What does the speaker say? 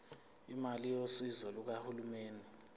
imali yosizo lukahulumeni